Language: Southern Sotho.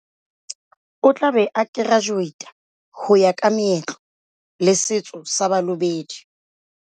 O tla be a kerajuweita ho ya ka meetlo le setso sa Balobedu.